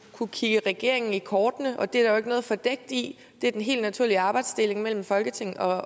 kunne kigge regeringen i kortene og det er der jo ikke noget fordækt i det er den helt naturlige arbejdsdeling mellem folketing og